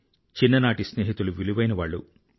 చిన్ననాటి స్నేహితులు విలువైనవాళ్ళు